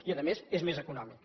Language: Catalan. i a més és més econòmic